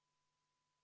Olete kindel, et seda ...